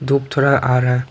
धूप थोड़ा आ रहा है।